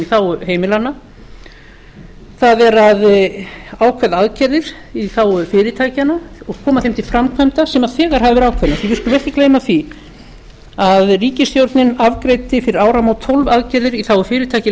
þágu heimilanna það eru ákveðnar aðgerðir í þágu fyrirtækjanna og koma þeim til framkvæmda sem þegar hafa verið ákveðnar því við skulum ekki gleyma því að ríkisstjórnin afgreiddi fyrir áramót tólf aðgerðir í þágu fyrirtækja í